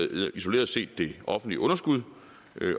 øger isoleret set det offentlige underskud